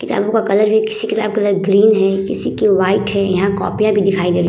किताबों का कलर भी किसी किताब कलर तरह ग्रीन है किसी की वाइट है यहाँ कॉपियां भी दिखाई दे रही --